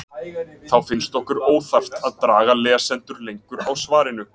Þá finnst okkur óþarft að draga lesendur lengur á svarinu.